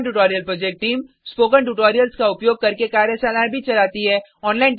spoken tutorial project team spoken tutorials का उपयोग करके कार्यशालाएं भी चलाती है